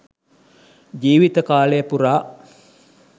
ජීවිත කාලය පුරා